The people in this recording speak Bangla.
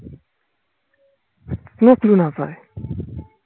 কোনো clue না পায়